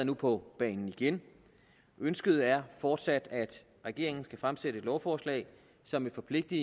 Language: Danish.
nu på banen igen ønsket er fortsat at regeringen skal fremsætte et lovforslag som vil forpligte